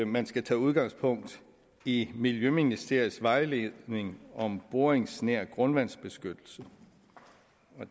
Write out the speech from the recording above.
man skal tage udgangspunkt i miljøministeriets vejledning om boringsnær grundvandsbeskyttelse